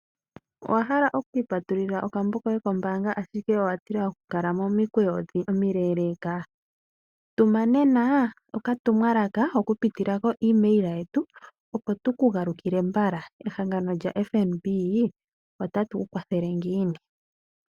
Owahala okwiipatulila okambo koye kombaanga ashike owa tila oku kala momukweyo omule? Tuma nena okatumwalaka oku pitila ko email yetu opo tuku galukile mbala. Ehagano lya FNB otatuku kwathele ngiini?